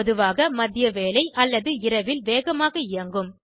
பொதுவாக மதியவேளை அல்லது இரவில் வேகமாக இயங்கும்